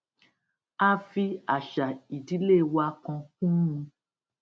a fi àṣà ìdílé wa kan kún un